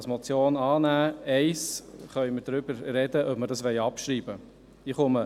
Bei Punkt 1 können wir darüber diskutieren, ob wir diesen abschreiben wollen.